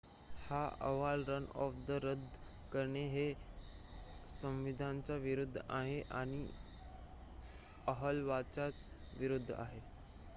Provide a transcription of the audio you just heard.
हा अहवाल रनऑफ रद्द करणे हे संविधानाच्या विरूद्ध आहे या अहवालाच्या विरूद्ध आहे